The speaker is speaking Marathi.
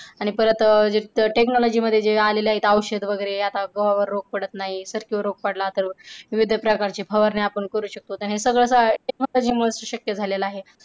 आणि परत जे technology मध्ये जे आलेले आहे औषध वगैरे आता गव्हावर रोग पडत नाही जर रोग पडला तर विविध प्रकारची फवारणी आपण करू शकतो त हे सगळं technology मुळे शक्य झालेल आहे.